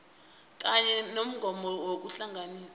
kanye nommongondaba yokuhlalisana